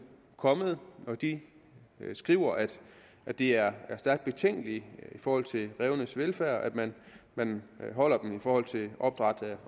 kommet og de skriver at det er stærkt betænkeligt i forhold til rævenes velfærd at man man holder dem i forhold til opdræt